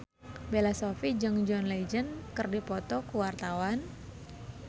Bella Shofie jeung John Legend keur dipoto ku wartawan